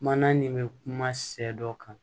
Mana nin bɛ kuma sɛ dɔ kan